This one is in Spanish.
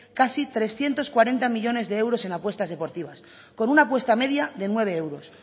casi trescientos cuarenta millónes de euros en apuestas deportivas con una apuesta media de nueve euros